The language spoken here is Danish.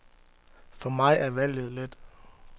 For mig er valget let.